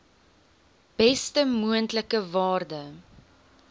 beste moontlike waarde